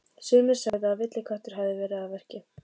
Sumir sögðu að villiköttur hefði verið að verki.